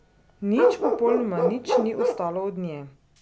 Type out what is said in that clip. Nič, popolnoma nič ni ostalo od nje.